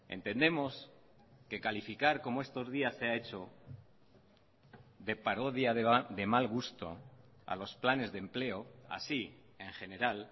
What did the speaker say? entendemos que calificar como estos días se ha hecho de parodia de mal gusto a los planes de empleo así en general